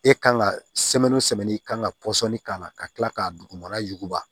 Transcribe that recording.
E kan ka i kan ka k'a la ka kila k'a dugumana yuguba